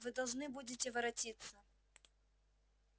вы должны будете воротиться